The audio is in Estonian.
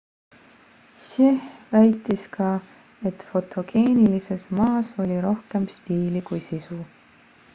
hsieh väitis ka et fotogeenilises ma's oli rohkem stiili kui sisu